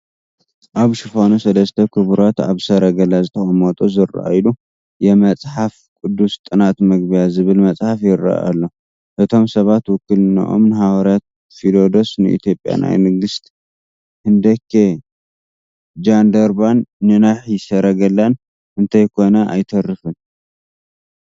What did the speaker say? ኣብ ሽፋኑ ሰለስተ ክቡራት ኣብ ሰረገላ ዝተቐመጡ ዝርአዩሉ "የመፅሓፍ ቅዱስ ጥናት መግቢያ" ዝብል መፅሓፍ ይርአ ኣሎ፡፡ እቶም ሰባት ውክልንኦም ንሃዋርያ ፊሊዶስ፣ ንኢትዮጵያ ናይ ንግስት ህንደኬ ጃንደረባን ንናሒ ሰረገላን እንተይኮነ ኣይተርፍን፡፡